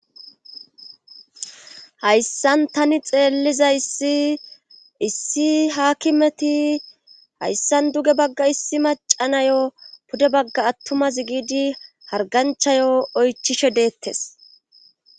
hayssan tani xeelliza isiissi haakimeti hayssan duge bagga issi macanayo pude bagga attumaz giidi harganchayo oychishe deettes